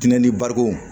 Diinɛ ni barikon